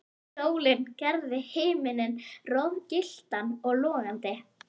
Sólin gerði himininn roðagylltan og logandi.